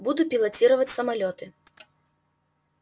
буду пилотировать самолёты